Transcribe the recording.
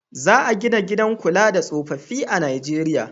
Za a gina gidan kula da tsofaffi a Nijeriya.